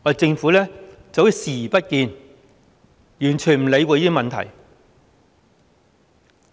政府視若無睹，完全不理會這些問題。